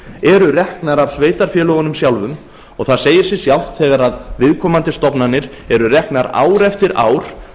landi eru reknar af sveitarfélögunum sjálfum það segir sig sjálft þegar viðkomandi stofnanir eru reknar ár eftir ár